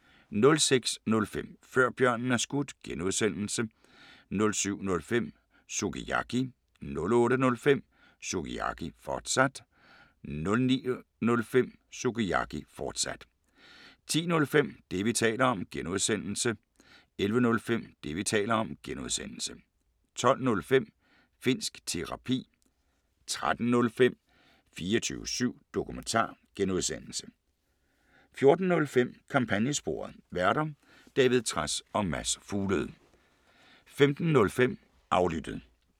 06:05: Før Bjørnen Er Skudt (G) 07:05: Sukiyaki 08:05: Sukiyaki, fortsat 09:05: Sukiyaki, fortsat 10:05: Det, vi taler om (G) 11:05: Det, vi taler om (G) 12:05: Finnsk Terapi 13:05: 24syv Dokumentar (G) 14:05: Kampagnesporet: Værter: David Trads og Mads Fuglede 15:05: Aflyttet